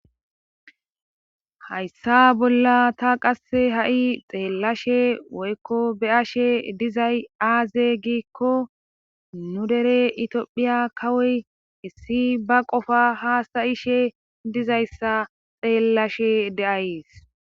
hayssa bolla ta qasse ha7i xeellashe woykko be7ashe dizay aaze giikko nu dere itiophiya kawoy issi ba qofa haasta ishe dizayssa xeellashe de7ayees